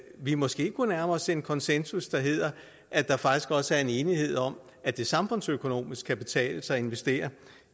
vi måske kunne nærme os en konsensus der hedder at der faktisk også er en enighed om at det samfundsøkonomisk kan betale sig at investere